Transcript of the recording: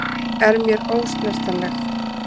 Er mér ósnertanleg.